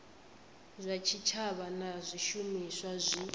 zwa tshitshavha na zwishumiswa zwi